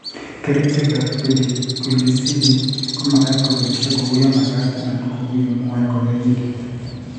Kerichekab pediculicide komagat keboishe kou yemagat anan ko kou yemwoe kanyoindet